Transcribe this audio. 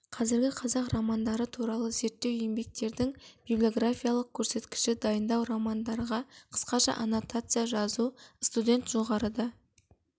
қазіргі қазақ романдары туралы зерттеу еңбектердің библиографиялық көрсеткіші дайындау романдарға қысқаша аннотация жазу студент жоғарыда